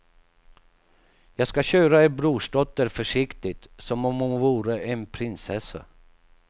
Jag ska köra er brorsdotter försiktigt som om hon vore en prinsessa.